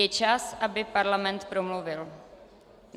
Je čas, aby parlament promluvil.